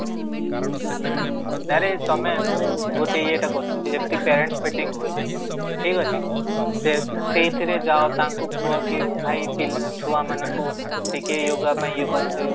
ହୁଁ, ଆରେ ତମେ ମୁଁ ଗୋଟେ ଇଏ ଟା କରିଛି ଯେମିତି parent meeting ହୁଏ, ଠିକ ଅଛି ସେ ସେଇଥିରେ ଯାଅ ତ ତାଙ୍କୁ କୁହ କି ଭାଇ ଛୁଆ ମାନଙ୍କୁ ଟିକେ yoga ପାଇଁ ଇଏ କରାନ୍ତେ